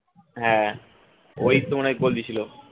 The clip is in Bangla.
হ্যাঁ ওই তো মনে হয় goal দিয়েছিল